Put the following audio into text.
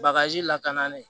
Bagaji lakanali